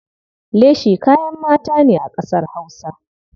Leshi kayan mata ne a ƙasar Hausa.